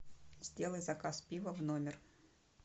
сделай заказ пива в номер